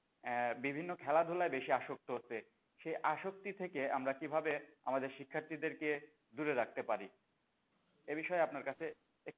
আহ বিভিন্ন খেলাধুলায় বেশি আসক্ত হচ্ছে সে আসক্তি থেকে আমরা কিভাবে আমাদের শিক্ষার্থীদের কে দূরে রাখতে পার? এবিষয়ে আপনার কাছে একটু